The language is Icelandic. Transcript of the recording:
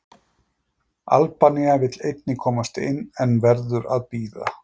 Albanía vill einnig komast inn, en verður að bíða.